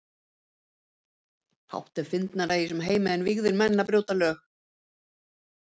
Fátt er fyndnara í þessum heimi en vígðir menn að brjóta lög.